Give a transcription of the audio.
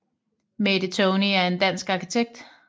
Mette Tony er en dansk arkitekt